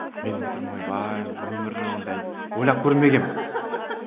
мен отырмын ойбай өмірі ондай ойлап көрмегенмін